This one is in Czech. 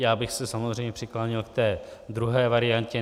Já bych se samozřejmě přikláněl k té druhé variantě.